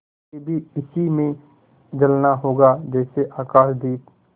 मुझे भी इसी में जलना होगा जैसे आकाशदीप